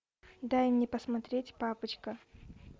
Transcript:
дай мне посмотреть папочка